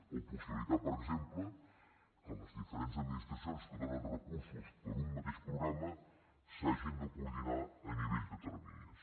o possibilitar per exemple que les diferents administracions que donen recursos per a un mateix programa s’hagin de coordinar a nivell de terminis